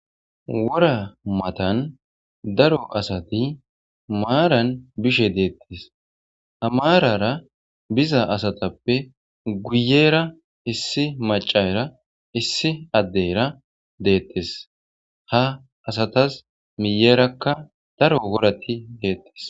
Wora matan daro asati maaran bishe deettes amaarara biza asatappe guyera issi macara issi addeyra deettes ha asatas miyerakka daro worati deettes.